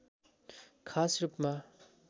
खास रूपमा